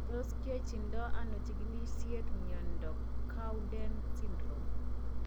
Tos kiyachindo ano chigilisiet mnyondo Cowden syndrome ?